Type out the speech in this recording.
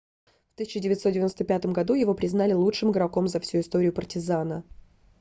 в 1995 году его признали лучшим игроком за всю историю партизана